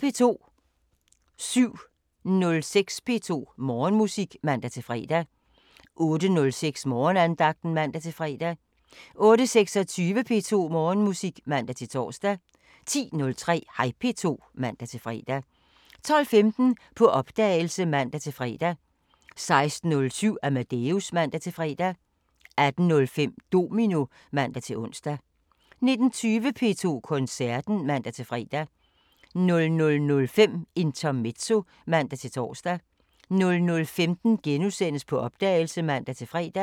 07:06: P2 Morgenmusik (man-fre) 08:06: Morgenandagten (man-fre) 08:26: P2 Morgenmusik (man-tor) 10:03: Hej P2 (man-fre) 12:15: På opdagelse (man-fre) 16:07: Amadeus (man-fre) 18:05: Domino (man-ons) 19:20: P2 Koncerten (man-fre) 00:05: Intermezzo (man-tor) 00:15: På opdagelse *(man-fre)